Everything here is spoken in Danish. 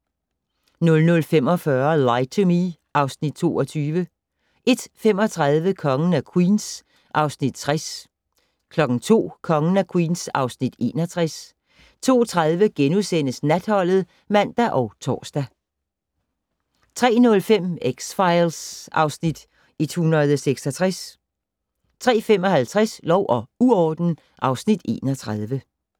00:45: Lie to Me (Afs. 22) 01:35: Kongen af Queens (Afs. 60) 02:00: Kongen af Queens (Afs. 61) 02:30: Natholdet *(man og tor) 03:05: X-Files (Afs. 166) 03:55: Lov og uorden (Afs. 31)